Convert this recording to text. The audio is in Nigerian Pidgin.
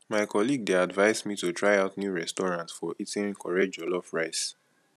my colleague dey advise me to try out new restaurant for eating correct jollof rice